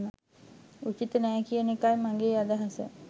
උචිත නෑ කියන එකයි මගේ අදහස